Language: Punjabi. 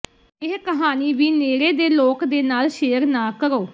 ਇਹ ਕਹਾਣੀ ਵੀ ਨੇੜੇ ਦੇ ਲੋਕ ਦੇ ਨਾਲ ਸ਼ੇਅਰ ਨਾ ਕਰੋ